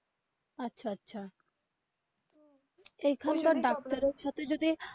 আচ্ছা আচ্ছা এইখানকার ডাক্তারের সাথে যদি.